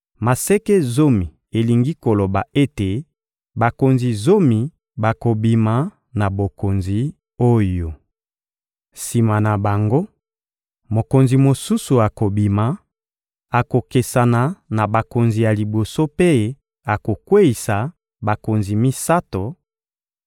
Maseke zomi elingi koloba ete bakonzi zomi bakobima na bokonzi oyo. Sima na bango, mokonzi mosusu akobima, akokesana na bakonzi ya liboso mpe akokweyisa bakonzi misato;